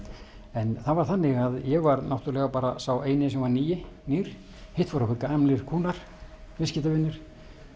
en það var þannig að ég var náttúrulega sá eini sem var nýr nýr hitt voru gamlir kúnnar viðskiptavinir